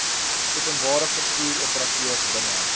openbare vervoeroperateurs binne